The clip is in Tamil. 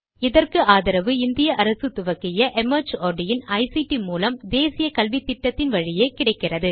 இதற்கு ஆதரவு இந்திய அரசு துவக்கிய ஐசிடி மூலம் தேசிய கல்வித்திட்டத்தின் வழியே கிடைக்கிறது